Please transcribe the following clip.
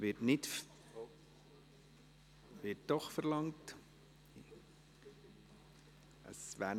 Dies wird nicht verlangt – doch, wird es.